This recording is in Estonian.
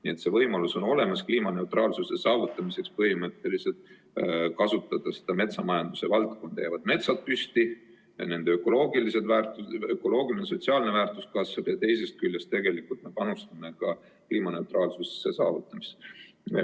Nii et on olemas võimalus kliimaneutraalsuse saavutamiseks põhimõtteliselt kasutada metsamajanduse valdkonda, siis jäävad metsad püsti, ökoloogiline ja sotsiaalne väärtus kasvab ja teisest küljest me panustame ka kliimaneutraalsuse saavutamisse.